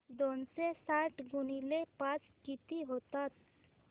दोनशे साठ गुणिले पाच किती होतात